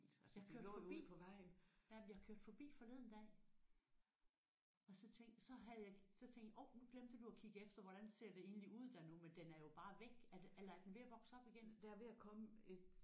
Jeg kørte forbi ja men jeg kørte forbi forleden dag og så tænkte så havde jeg så tænkte orh nu glemte du at kigge efter hvordan ser det egentlig ud der nu men den er jo bare væk eller eller er den ved at vokse op igen